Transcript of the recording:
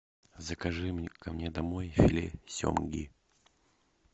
закажи ко мне домой филе семги